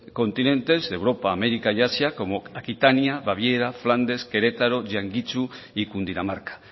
continentes de europa américa y asia como aquitania baviera flandes querétaro jiantsu cundinamarca